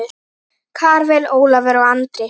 Karvel, Ólafur og Andri.